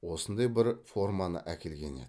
осындай бір форманы әкелген еді